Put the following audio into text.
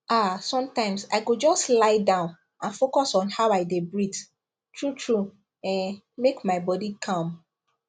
ah sometimes i go just lie down and focus on how i dey breathe truetrue um make my body calm